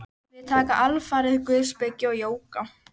Við taka alfarið guðspeki og jóga.